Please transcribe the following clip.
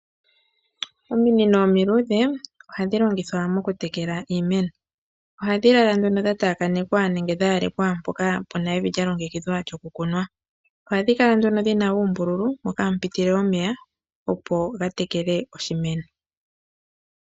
Ominino omiluudhe ohadhi longithwa mokutekela iimeno. Ohadhi lala nduno dhataakanekwa nenge dhayalekwa mpoka puna evi lyalongekidhwa lyokukunwa. Ohadhi kala nduno dhina uumbululu moka hamu pitile omeya opo gatekele oshimeno.